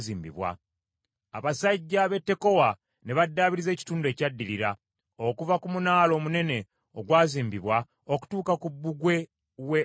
Abasajja b’e Tekowa ne baddaabiriza ekitundu ekyaddirira, okuva ku munaala omunene ogwazimbibwa okutuuka ku bbugwe w’e Oferi.